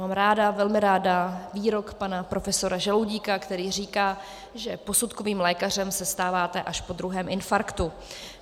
Mám ráda, velmi ráda výrok pana profesora Žaloudíka, který říká, že posudkovým lékařem se stáváte až po druhém infarktu.